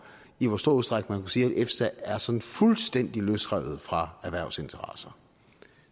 i hvor stor udstrækning sige efsa er sådan fuldstændig løsrevet fra erhvervsinteresser